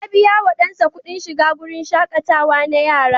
Ya biya wa ɗansa kuɗin shiga wurin shaƙatawa na yara.